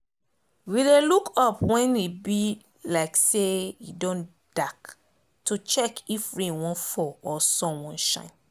we dey look up when e be like say e don dark to check if rain wan fall or sun wan shine